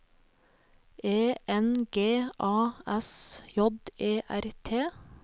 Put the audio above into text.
E N G A S J E R T